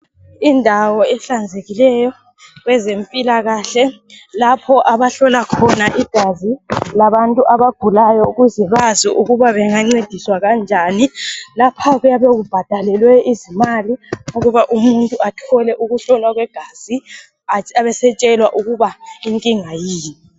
Indawo ehlanzekileyo kwezempilakahle, lapho abahlola khona igazi labantu abagulayo ukuze bazi ukuba bengancediswa kanjani. Lapha kuyabe kubhadalwe izimali ukuba umuntu athole ukuhlolwa kwegazi abe setshelwa ukuba inkinga yini.